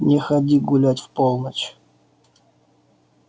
не ходи гулять в полночь